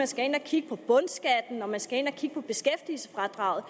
skal ind at kigge på bundskatten og man skal ind at kigge på beskæftigelsesfradraget